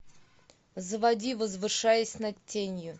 заводи возвышаясь над тенью